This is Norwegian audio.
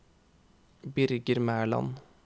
Birger Mæland